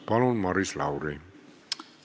Palun, Maris Lauri!